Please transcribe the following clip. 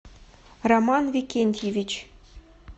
роман викентьевич